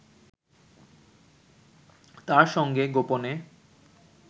তার সঙ্গে গোপনে